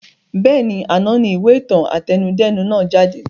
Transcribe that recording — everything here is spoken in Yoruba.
Bẹ́ẹ̀ni, àná ni ìwé ìtàn àtẹnudẹ́nu nàá jáde